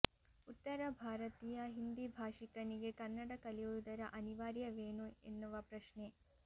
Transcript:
ಉತ್ತರ ಭಾರತೀಯ ಹಿಂದಿ ಭಾಷಿಕನಿಗೆ ಕನ್ನಡ ಕಲಿಯುವುದರ ಅನಿವಾರ್ಯವೇನು ಎನ್ನುವ ಪ್ರಶ್ನೆ